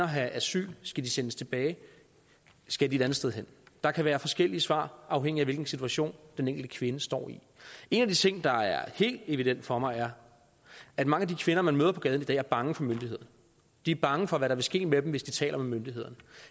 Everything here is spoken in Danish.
have asyl skal de sendes tilbage skal de et andet sted hen der kan være forskellige svar afhængigt af hvilken situation den enkelte kvinde står i en af de ting der er helt evident for mig er at mange af de kvinder man møder på gaden i dag er bange for myndighederne de er bange for hvad der vil ske med dem hvis de taler med myndighederne